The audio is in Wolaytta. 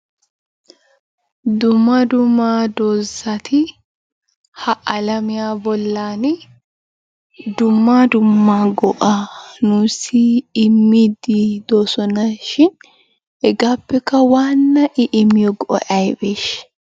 Dumma dumma doozati ha alamiya bollani dumma dumma go"aa nuussi immiiddi doosona shin hegaappekka waanna i immiyo go"ay ayibeeshsha?